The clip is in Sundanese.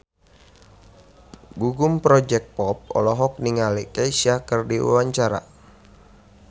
Gugum Project Pop olohok ningali Kesha keur diwawancara